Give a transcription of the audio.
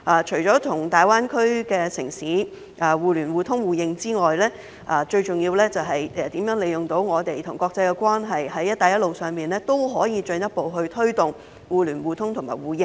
除了與大灣區的城市互聯互通互認外，最重要的就是如何利用我們與國際的關係，在"一帶一路"上也可以進一步推動互聯互通互認。